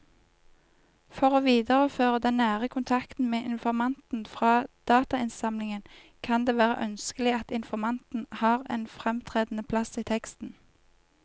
For å videreføre den nære kontakten med informanten fra datainnsamlingen kan det være ønskelig at informanten har en fremtredende plass i teksten.